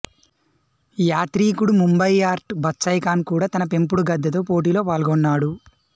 యాత్రీకుడు Munkhbayart Batsaikhan కూడా తన పెంపుడు గద్దతో పోటీలో పాల్గొన్నాడు